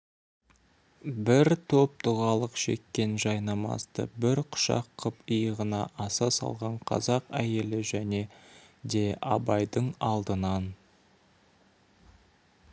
бір топ дұғалық шеккен жайнамазды бір құшақ қып иығына аса салған қазақ әйелі және де абайдың алдынан